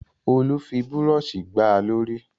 Olú fi búrọ́ṣì gbá a lórí.